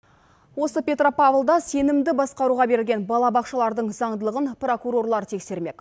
осы петропавлда сенімді басқаруға берілген балабақшалардың заңдылығын прокурорлар тексермек